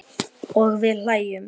Og við hlæjum.